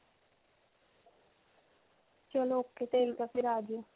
ਚਲੋ ok. ਠੀਕ ਹੈ ਫਿਰ ਆ ਜੀਓ.